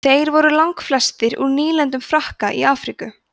þeir voru langflestir úr nýlendum frakka í afríku